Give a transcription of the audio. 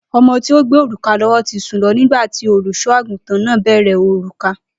O̩mo̩ tí ó gbé òrùka ló̩wó̩ ti sùn lo̩ nígbà tí olùs̩o̩-àgùntàn náà béèrè òrùka